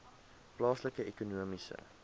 plaaslike ekonomiese